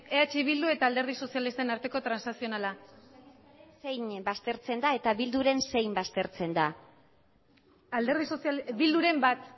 eh bildu eta alderdi sozialistaren arteko transazionala zein baztertzen da eta bilduren zein baztertzen den bilduren bat